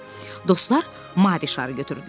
Dostlar mavi şarı götürdülər.